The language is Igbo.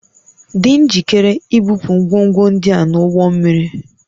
Dị njikere ibupu ngwongwo ndị a n'ụgbọ mmiri